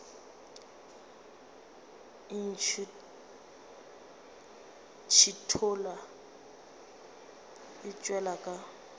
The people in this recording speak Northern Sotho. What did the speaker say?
e ntšhithola e tšwela ka